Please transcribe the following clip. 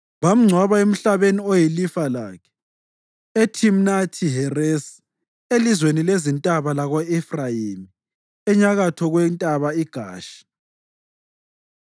Bamngcwaba emhlabeni oyilifa lakhe, eThimnathi-Heresi, elizweni lezintaba lako-Efrayimi, enyakatho kwentaba iGashi.